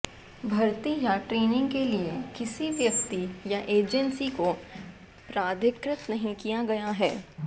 भर्ती या ट्रेनिंग के लिए किसी व्यक्ति या एजेंसी को प्राधिकृत नहीं किया गया है